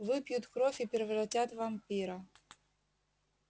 выпьют кровь и превратят в вампира